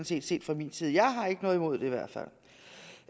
set fra min side jeg har ikke noget imod det i hvert fald